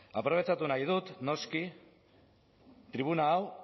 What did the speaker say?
aprobetxatu nahi dut noski tribuna hau